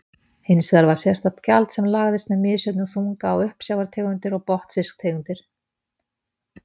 Hins vegar var sérstakt gjald sem lagðist með misjöfnum þunga á uppsjávartegundir og botnfisktegundir.